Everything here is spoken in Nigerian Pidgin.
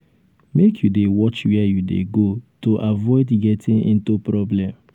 make you dey watch wehre you dey go to avoid getting into problem.